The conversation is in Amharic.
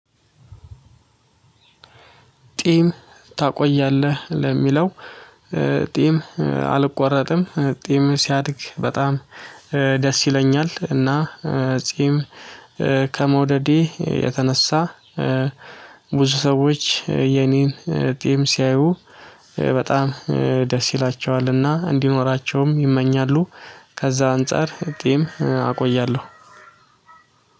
ጢም ታቆያለህ ለሚለው? ጢም አልቆረጥም ጢም ሲያድግ በጣም ደስ ይለኛል። እና ጢም የተነሳ ብዙ ሰዎች የኔን ጢም ሲያዩ በጣም ደስ ይላቸዋልና እንዲኖራቸውም ይመኛሉ። ከዛ አንፃር ጢም አቆያለሁ።